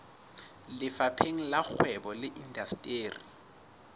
lefapheng la kgwebo le indasteri